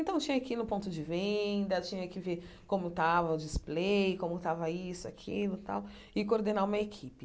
Então, eu tinha que ir no ponto de venda, tinha que ver como estava o display, como estava isso, aquilo tal, e coordenar uma equipe.